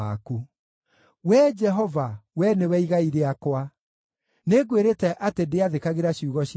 Wee Jehova, Wee nĩwe igai rĩakwa; nĩngwĩrĩte atĩ ndĩathĩkagĩra ciugo ciaku.